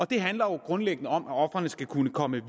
det handler jo grundlæggende om at ofrene skal kunne komme